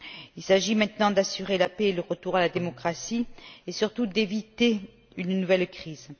Il s'agit maintenant d'assurer la paix et le retour à la démocratie et surtout d'éviter une nouvelle crise.